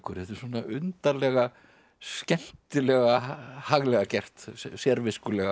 þetta er undarlega skemmtilega haglega gert sérviskulega hjá